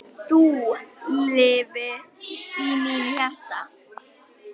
Þú lifir í mínu hjarta.